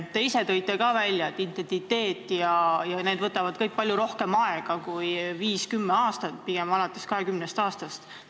Te ise ka märkisite, et identiteedi kujunemine võtab palju rohkem aega kui viis kuni kümme aastat, pigem vähemalt 20 aastat.